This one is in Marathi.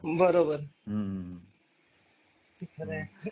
बरोबर हम्म खरंय